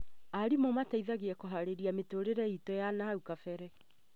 Arimũ mateithagia kũharĩria mĩtũrĩre itũ ya nahau gabere